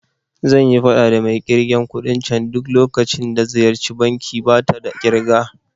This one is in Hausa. Zanyi faɗa da mai ƙirgen kuɗin can duk lokacin da ziyarci banki, bata da kirki